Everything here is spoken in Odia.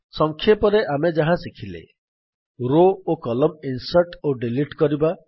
ସଂକ୍ଷପରେ ଆମେ ଯାହା ଶିଖିଲେ ରୋ ଓ କଲମ୍ନ ଇନ୍ସର୍ଟ୍ ଓ ଡିଲିଟ୍ କରିବା